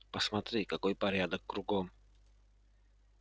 посмотри какой порядок кругом